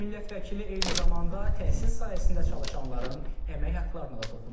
Millət vəkili eyni zamanda təhsil sahəsində çalışanların əmək haqlarına da toxunub.